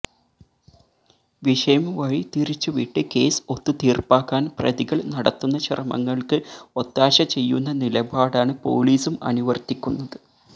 വിഷയം വഴി തിരിച്ചുവിട്ട് കേസ് ഒത്തു തീർപ്പാക്കാൻ പ്രതികൾ നടത്തുന്ന ശ്രമങ്ങൾക്ക് ഒത്താശ്ശ ചെയ്യുന്ന നിലപാടാണ് പോലീസും അനുവർത്തിക്കുന്നത്